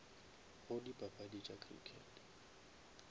go dipapadi tša crickete